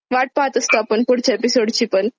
वाट पाहत असतो आपण पुढच्या एपिसोड ची पण.